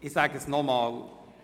Ich sage es nochmals: